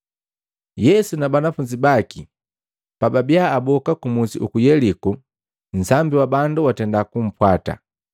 Yesu na banafunzi baki pababia aboka kumusi uku Yeliko, nsambi wa bandu watenda kumpwata.